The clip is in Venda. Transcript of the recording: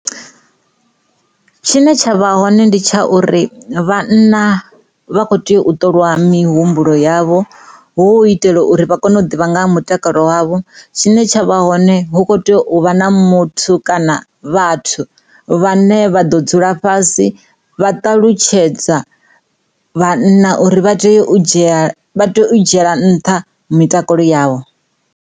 Tshine tsha vha hone ndi tsha uri vhanna vha kho tea u ṱolwa mihumbulo yavho hu u itela uri vha kone u ḓivha nga ha mutakalo wavho tshine t, shavha hone hu kho tea u u vha na muthu kana vhathu vhane vha ḓo dzula fhasi vha ṱalutshedza vhanna uri vha tea u dzhia, vha tea u dzhiela nṱha mitakalo yavho.